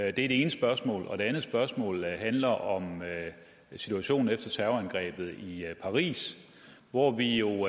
er det ene spørgsmål det andet spørgsmål handler om situationen efter terrorangrebet i paris hvor vi jo